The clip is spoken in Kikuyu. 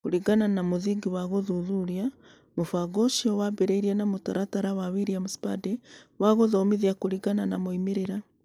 Kũringana na mũthingi wa gũthuthuria, mũbango ũcio waambĩrĩirie na mũtaratara wa William Spady wa Gũthomithia Kũringana na Moimĩrĩro.